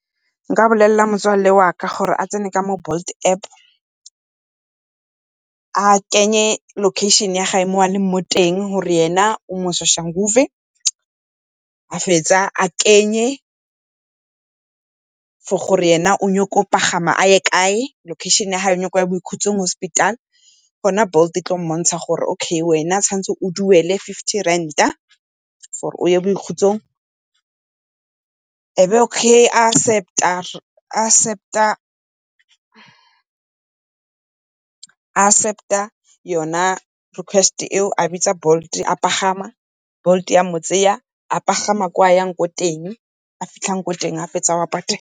Nka bolelela motswalle wa ka gore a tsene mo Bolt App, a kenye location ya gae mo a leng ko teng, gore ena o mo Soshanguve. Ga a fetsa a kenye for gore e ne o nyaka go pagama a ye kae, location ya gage o nyaka goya Boikhutsong Hospital. Gona Bolt e tla mmontsha gore, okay wena tshwanetse o duele fifty rand-a for-e o ye Boikhutsong. E be ga a accept-a yone request e o, a bitsa Bolt a pagama, Bolt ya mo tseya a pagama kwa a yang ko teng, ga a fitlha kwa a yang ko teng, ga fitlha ko teng o a patela.